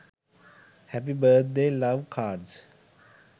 happy birth day love cards